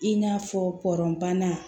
I n'a fɔ pɔrɔnan